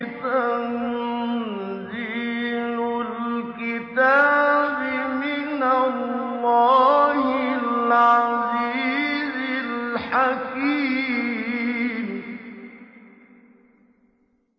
تَنزِيلُ الْكِتَابِ مِنَ اللَّهِ الْعَزِيزِ الْحَكِيمِ